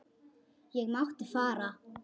Ég mátti fara.